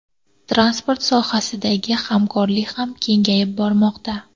Transport sohasidagi hamkorlik ham kengayib bormoqda.